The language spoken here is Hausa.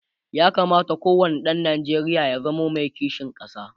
ya kamata ko wani ɗan Nijeriya ya zamo Mai kishin ƙasa